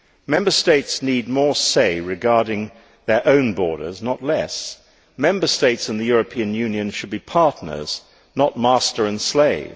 Member States need more say regarding their own borders, not less. Member States and the European Union should be partners, not master and slave.